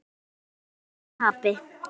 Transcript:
Hvorki í sigri né tapi.